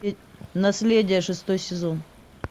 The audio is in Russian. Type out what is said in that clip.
наследие шестой сезон